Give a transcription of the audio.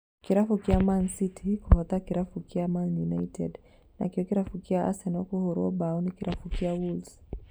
Kĩrabu kĩa Man City kũhota Kĩrabu kĩa Man united, nakĩo kĩrabu kĩa Arsenal kũhũrwo mbaũ ni kĩrabu kĩa Wolves